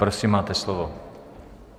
Prosím, máte slovo.